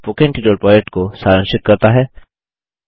यह spoken tutorial project को सारांशित करता है